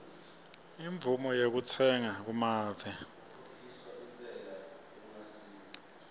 imvumo yekutsenga kumave